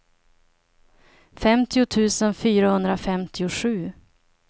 femtio tusen fyrahundrafemtiosju